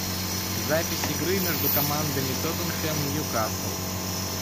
запись игры между командами тоттенхэм ньюкасл